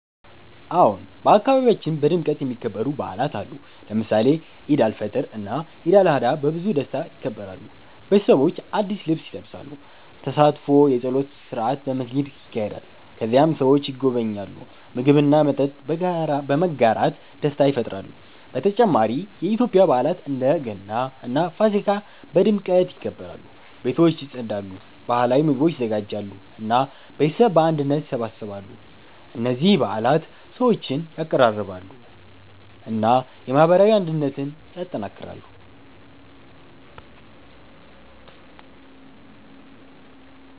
አዎን፣ በአካባቢያችን በድምቀት የሚከበሩ በዓላት አሉ። ለምሳሌ ኢድ አልፈጥር እና ኢድ አልአድሃ በብዙ ደስታ ይከበራሉ። ቤተሰቦች አዲስ ልብስ ይለብሳሉ፣ ተሳትፎ የጸሎት ስርዓት በመስጊድ ይካሄዳል። ከዚያም ሰዎች ይጎበኛሉ፣ ምግብ እና መጠጥ በመጋራት ደስታ ይፈጥራሉ። በተጨማሪ የኢትዮጵያ በዓላት እንደ ገና እና ፋሲካ በድምቀት ይከበራሉ። ቤቶች ይጸዳሉ፣ ባህላዊ ምግቦች ይዘጋጃሉ እና ቤተሰብ በአንድነት ይሰበሰባሉ። እነዚህ በዓላት ሰዎችን ያቀራርባሉ እና የማህበራዊ አንድነትን ያጠናክራሉ።